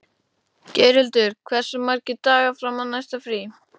Geirhildur, hversu margir dagar fram að næsta fríi?